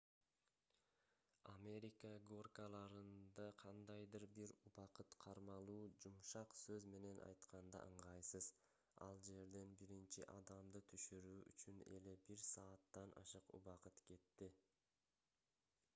америка горкаларында кандайдыр бир убакыт кармалуу жумшак сөз менен айтканда ыңгайсыз ал жерден биринчи адамды түшүрүү үчүн эле бир сааттан ашык убакыт кетти